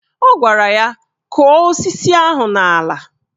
Ọ gwara ya " Kọ̀ọ́ osisi ahụ n'ala"